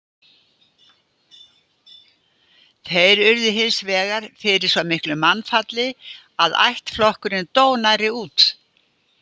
Þeir urðu hins vegar fyrir svo miklu mannfalli að ættflokkurinn dó nærri út.